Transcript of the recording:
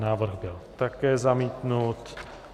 Návrh byl také zamítnut.